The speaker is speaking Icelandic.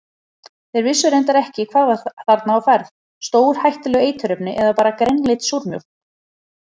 Þeir vissu reyndar ekki hvað var þarna á ferð, stórhættuleg eiturefni eða bara grænleit súrmjólk?